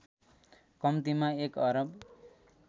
कम्तिमा १ अरब